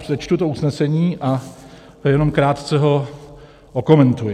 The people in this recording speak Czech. Přečtu to usnesení a jenom krátce ho okomentuji.